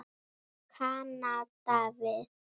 Kanada við.